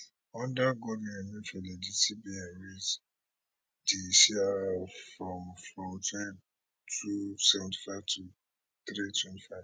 under godwin emefiele di cbn raise di crr from from two seventy five to three twenty five